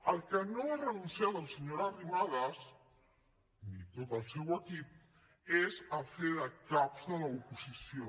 al que no ha renunciat la senyora arrimadas ni tot el seu equip és a fer de caps de l’oposició